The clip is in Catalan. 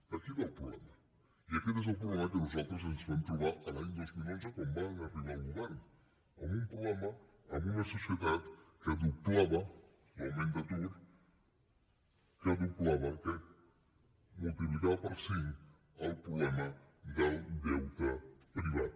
d’aquí ve el problema i aquest és el problema que nosaltres ens vam trobar l’any dos mil onze quan vam arribar al govern amb un problema amb una societat que doblava l’augment d’atur que multiplicava per cinc el problema del deute privat